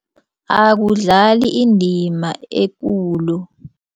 Akudlali indima ekulu.